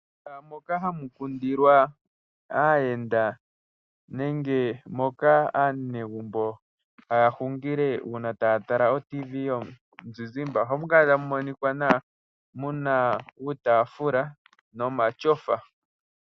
Mehala moka ha mu kundilwa aayenda, nenge moka ha mu kala aanegumbo ngele taya tala ooRadio yomuzizimbe oha mu kala ta mu monika nawa mu na uutafula nomatyofa.